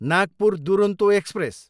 Nagpur Duronto express